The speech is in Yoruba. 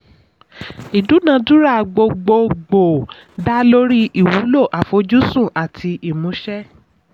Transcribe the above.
ìdún adúrà gbogbogbo dá lórí ìwúlò àfojúsùn àti ìmúṣẹ.